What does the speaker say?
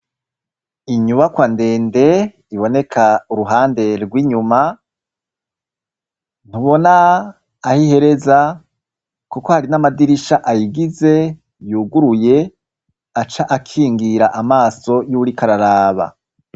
Inyubakwa ndende iboneka uruhande rw'inyuma, ntubona aho ihereza kuko hari n'amadirisha ayigize yuguruye, aca akingira amaso y'uwuriko araraba.